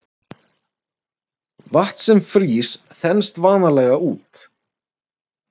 Vatn sem frýs þenst vanalega út.